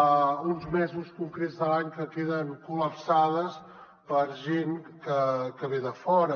a uns mesos concrets de l’any que queden col·lapsades per gent que ve de fora